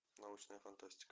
научная фантастика